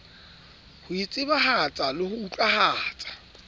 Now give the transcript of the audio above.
ho itsebahatsa le ho utlwahatsa